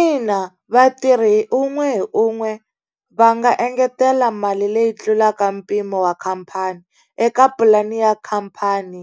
Ina vatirhi hi un'we hi un'we va nga engetela mali leyi tlulaka mpimo wa khampani, eka pulani ya khampani